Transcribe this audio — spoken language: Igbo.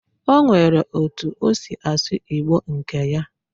Onwere otu osi asu Igbo nke ya